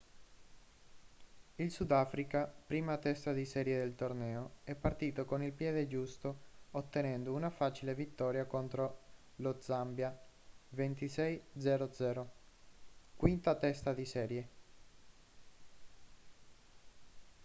il sudafrica prima testa di serie del torneo è partito con il piede giusto ottenendo una facile vittoria contro lo zambia 26 - 00 quinta testa di serie